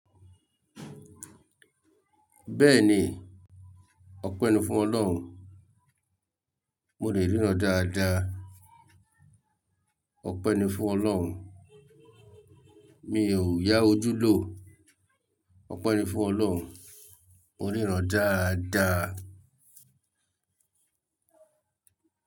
Bẹ́ẹ̀ni, ọpẹ́ ni fún Ọlọ́run, mo le ríran dáadáa. Ọpẹ́ ni fún Ọlọ́run, mi ò yá ojú lò. Ọpẹ́ ni fún Ọlọ́run, mo ríran dáadáa.